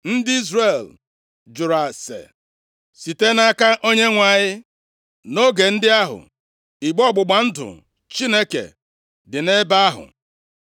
Ndị Izrel jụrụ ase site nʼaka Onyenwe anyị. (Nʼoge ndị ahụ, igbe ọgbụgba ndụ Chineke dị nʼebe ahụ.